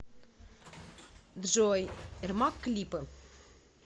джой эрмак клипы